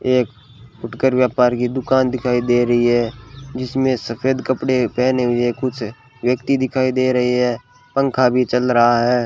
एक फुटकर व्यापार की दुकान दिखाई दे रही है जिसमें सफेद कपड़े पहने हुए कुछ व्यक्ति दिखाई दे रहे हैं पंखा भी चल रहा है।